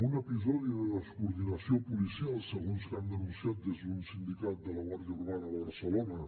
un episodi de descoordinació policial segons que han denunciat des d’un sindicat de la guàrdia urbana de barcelona